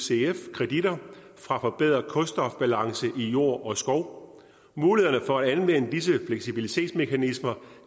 kreditter fra forbedret kulstofbalance i jord og skov mulighederne for at anvende disse fleksibilitetsmekanismer